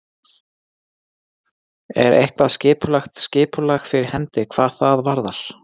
Er eitthvað skipulagt, skipulag fyrir hendi hvað það varðar?